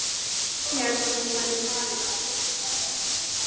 Ég hélt að þú værir farinn.